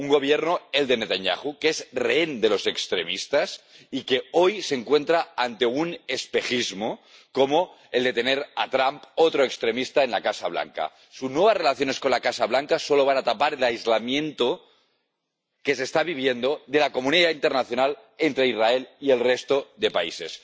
Un Gobierno, el de Netanyahu, que es rehén de los extremistas y que hoy se encuentra ante un espejismo como el de tener a Trump, otro extremista, en la Casa Blanca. Sus nuevas relaciones con la Casa Blanca solo van a tapar el aislamiento que está viviendo Israel de la comunidad internacional, del resto de países.